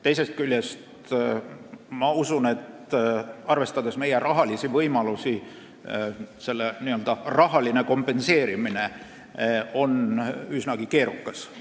Teisest küljest, ma usun, et arvestades meie rahalisi võimalusi on selle rahaline kompenseerimine üsnagi keerukas.